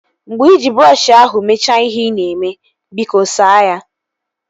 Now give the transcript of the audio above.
Mgbe iji brọọshi ahụ mechaa ihe ị na-eme, biko saa ya